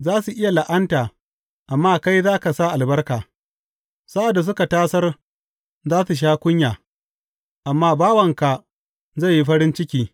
Za su iya la’anta, amma kai za ka sa albarka; sa’ad da suka tasar za su sha kunya, amma bawanka zai yi farin ciki.